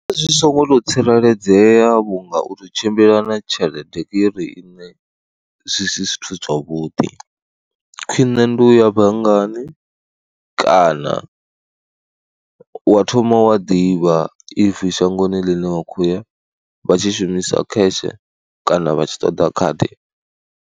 Zwi songo tou tsireledzea vhunga u tou tshimbila na tshelede iri ine zwi si zwithu zwavhuḓi, khwiṋe ndi u ya banngani kana wa thoma wa ḓivha if shangoni ḽine wa khou ya vha tshi shumisa cash kana vha tshi ṱoḓa khadi.